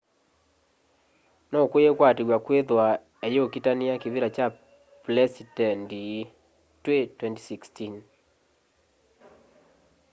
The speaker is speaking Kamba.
nukwikwatiw'a kwithwa eyukitania kivila kya plesitendi twi 2016